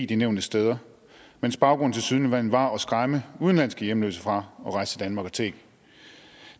de nævnte steder mens baggrunden tilsyneladende var at skræmme udenlandske hjemløse fra at rejse til danmark og tigge